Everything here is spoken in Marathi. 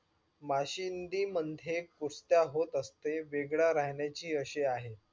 मशिदी मध्ये कुस्त्या होत असते वेगळ्या राहण्याची असे आहे.